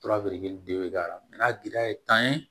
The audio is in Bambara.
Torabiri de be k'a la n'a giriya ye tan ye